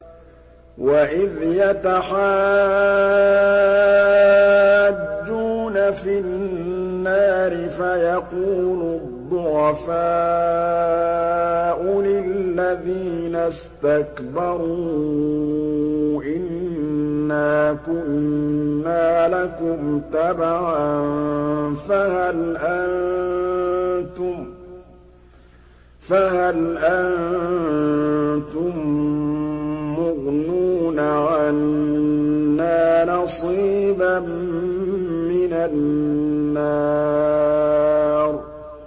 وَإِذْ يَتَحَاجُّونَ فِي النَّارِ فَيَقُولُ الضُّعَفَاءُ لِلَّذِينَ اسْتَكْبَرُوا إِنَّا كُنَّا لَكُمْ تَبَعًا فَهَلْ أَنتُم مُّغْنُونَ عَنَّا نَصِيبًا مِّنَ النَّارِ